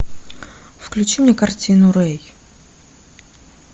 включи мне картину рей